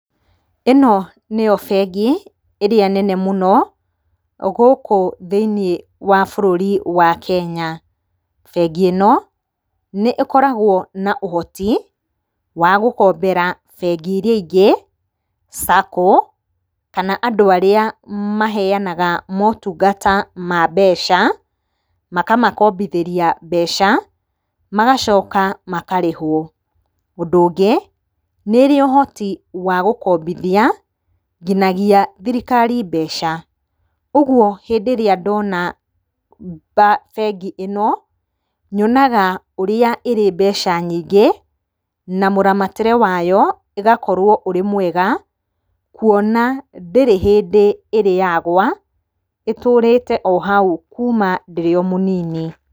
ĩno nĩyo bengi ĩrĩa nene mũno gũkũ thĩinĩ wa bururi wa Kenya. Bengi ĩno, nĩ ĩkoragũo na ũhoti wa gũkombera bengi iria ingĩ, SACCO kana andu arĩa maheanaga motungata ma nbeca makamakombithĩria mbeca magacoka makarĩhũo. Ũndũ ũngĩ nĩ ĩrĩ ũhoti wagũkombithia nginyagia thirikari mbeca. Ũguo hĩndĩ ĩrĩa ndona bengi ĩno, nyonaga ũrĩa ĩrĩmbeca nyingĩ na mũramatĩre wayo ũgakorwo ũrĩ mwega kuona ndĩrĩ hĩndĩ ĩrĩyagũa ĩtũrĩte ohau kuma ndĩrĩ omũnini.